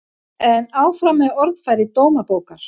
En áfram með orðfæri Dómabókar